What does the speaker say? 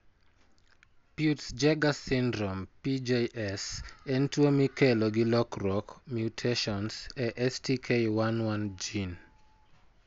Peutz Jeghers syndrome (PJS) en tuwo mikelo gi lokruok (mutations) e STK11 gene.